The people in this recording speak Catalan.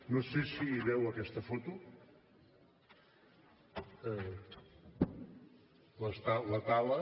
no sé si veu aquesta foto la tala